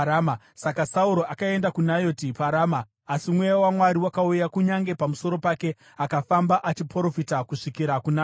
Saka Sauro akaenda kuNayoti paRama. Asi Mweya waMwari wakauya kunyange pamusoro pake, akafamba achiprofita kusvikira kuNayoti.